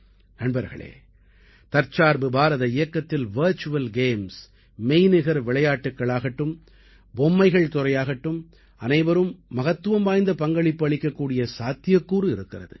நண்பர்களே தற்சார்பு பாரத இயக்கத்தில் வர்ச்சுவல் கேம்ஸ் மெய்நிகர் விளையாட்டுக்களாகட்டும் பொம்மைகள் துறையாகட்டும் அனைவரும் மகத்துவம் வாய்ந்த பங்களிப்பு அளிக்கக்கூடிய சாத்தியக்கூறு இருக்கிறது